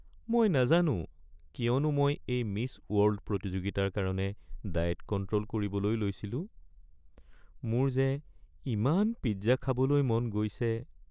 মই নাজানো কিয়নো মই এই মিছ ৱৰ্ল্ড প্ৰতিযোগিতাৰ কাৰণে ডায়েট কণ্ট্ৰ'ল কৰিবলৈ লৈছিলোঁ। মোৰ যে ইমান পিজ্জা খাবলৈ মন গৈছে।